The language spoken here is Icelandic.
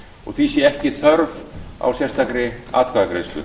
og því sé ekki þörf á sérstakri atkvæðagreiðslu